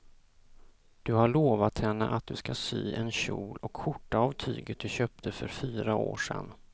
Du har lovat henne att du ska sy en kjol och skjorta av tyget du köpte för fyra år sedan.